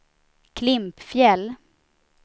Klimpfjäll